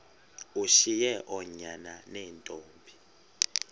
ushiye oonyana neentombi